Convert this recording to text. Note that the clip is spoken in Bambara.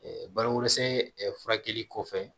balokosɛ ɛ furakɛli kɔfɛ